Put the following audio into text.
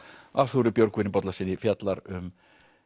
Arthúri Björgvin Bollasyni fjallar um